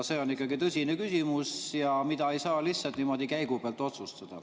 See on ikkagi tõsine küsimus, mida ei saa lihtsalt niimoodi käigupealt otsustada.